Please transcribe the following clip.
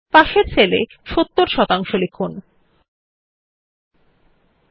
অবশেষে শেষ সারির আমরা প্রথম সেল এ শিরোনাম হিসাবে পোস্ট Graduationএবং পাশের সেল এ নম্বর হিসাবে ৭০ শতাংশ লিখুন